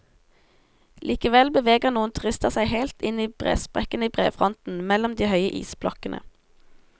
Likevel beveger noen turister seg helt inn i bresprekkene i brefronten, mellom de høye isblokkene.